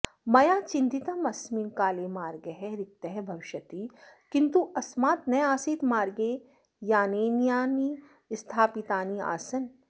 मया चिन्तितं अस्मिन् काले मार्गः रिक्तः भविष्यति किन्तु अस्मात् नासीत् मार्गे यानानि स्थापितानि आसन्